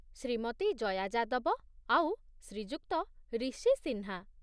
ଶ୍ରୀମତୀ ଜୟା ଯାଦବ ଆଉ ଶ୍ରୀଯୁକ୍ତ ରିଶି ସିହ୍ନା ।